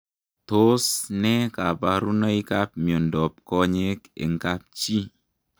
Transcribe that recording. Tos nee kabaruboik ap miondop konyeek eng kapchii ?